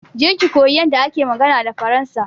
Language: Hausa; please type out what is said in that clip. Je ki koyi yanda ake magana da faransa.